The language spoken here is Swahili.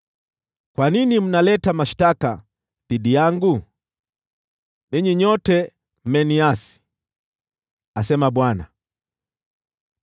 “Kwa nini mnaleta mashtaka dhidi yangu? Ninyi nyote mmeniasi,” asema Bwana .